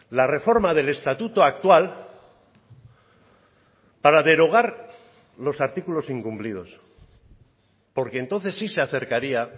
la reforma del estatuto actual para derogar los artículos incumplidos porque entonces sí se acercaría